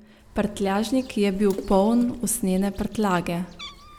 Prtljažnik je bil poln usnjene prtljage.